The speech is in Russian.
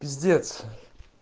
пиздец